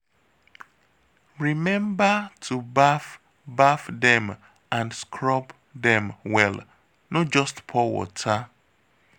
Remember to baff baff dem and scrub dem well no just pour water